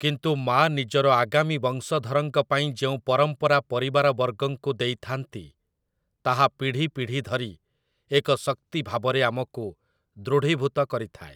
କିନ୍ତୁ ମା ନିଜର ଆଗାମୀ ବଂଶଧରଙ୍କ ପାଇଁ ଯେଉଁ ପରମ୍ପରା ପରିବାରବର୍ଗଙ୍କୁ ଦେଇଥାନ୍ତି, ତାହା ପିଢ଼ି ପିଢ଼ି ଧରି ଏକ ଶକ୍ତି ଭାବରେ ଆମକୁ ଦୃଢ଼ୀଭୂତ କରିଥାଏ ।